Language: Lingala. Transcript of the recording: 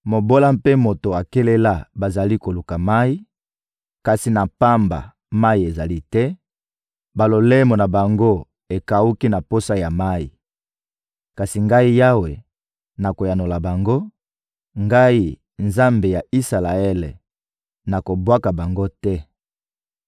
Mobola mpe moto akelela bazali koluka mayi, kasi na pamba: mayi ezali te; balolemo na bango ekawuki na posa ya mayi. Kasi Ngai Yawe, nakoyanola bango; Ngai, Nzambe ya Isalaele, nakobwaka bango te.